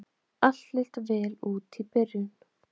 Allt leit vel út í byrjun